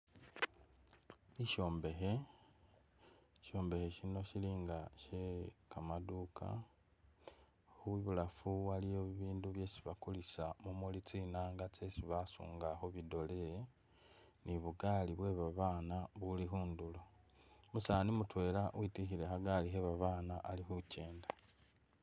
Ishombekhe, shishombekhe shino shili nga shye kamaduka ,ibulafu waliyo bibindu byesi bakulisa mumuli tsinanga tsesi basunga khu bidole, ni bugaali bwe babana buli khundulo, umusani mutwela witwikhile khagaali kye babana ali khu kyenda.